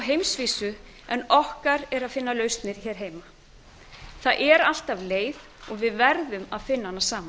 heimsvísu en okkar er að finna lausnir hér heima en það er alltaf leið og við verðum að finna hana saman